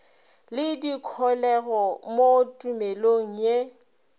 le dikholego mo tumelong ye